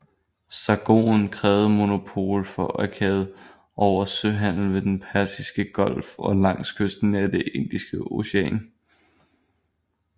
Sargon krævede monopol for Akkad over al søhandel ved den persiske golf og langs kysten af det Indiske Ocean